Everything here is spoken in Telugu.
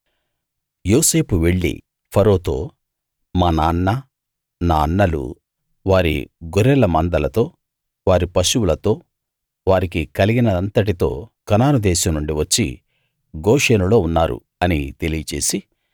యోసేపు వెళ్ళి ఫరోతో మా నాన్న నా అన్నలు వారి గొర్రెల మందలతో వారి పశువులతో వారికి కలిగినదంతటితో కనాను దేశం నుండి వచ్చి గోషెనులో ఉన్నారు అని తెలియచేసి